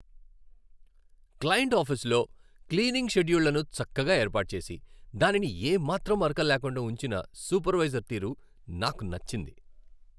Client ఆఫీసులో cleaning షెడ్యూళ్ళను చక్కగా ఏర్పాటు చేసి, దానిని ఏమాత్రం మరకలు లేకుండా ఉంచిన సూపర్వైజర్ తీరు నాకు నచ్చింది.